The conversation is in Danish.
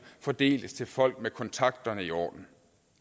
fordeles til folk med kontakterne i orden